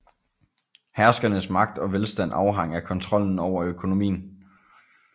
Herskernes magt og velstand afhang af kontrollen over økonomien